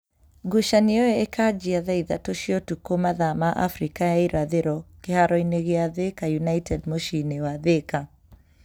Ngucanio ĩyo ĩkanjia thaa ithatũ cĩa ũtukũ mathaa ma Afrika ya irathĩro kĩharo-inĩ gĩa Thika United muciĩ-inĩ wa Thika